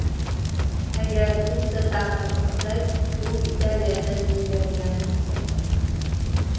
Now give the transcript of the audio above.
Agar pitsa taqdim qilsak, u Italiyada yeyiladigan pitssadir.